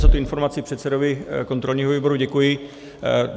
Za tu informaci předsedovi kontrolního výboru děkuji.